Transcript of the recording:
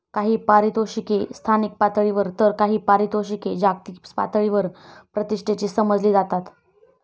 काही पारितोषिके स्थानिक पातळीवर तर काही पारितोषिके जागतिक पातळीवर प्रतिष्ठेची समजली जातात.